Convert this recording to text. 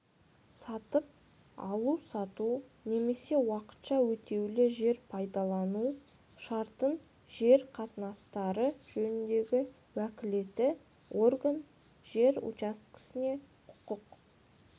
сатып алу-сату немесе уақытша өтеулі жер пайдалану шартын жер қатынастары жөніндегі уәкілетті орган жер учаскесіне құқық